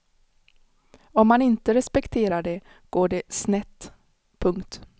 Om man inte respekterar det går det snett. punkt